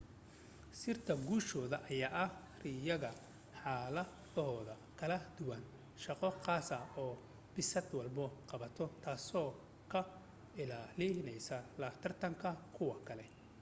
sirta guushoda ayaa ah rayiga xaladooda kala duwan shaqo qaasa oo bisad walbo qabato taaso ka ilaalineysa la tartanka kuwa kale